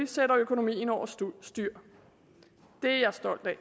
sætter økonomien over styr det er jeg stolt af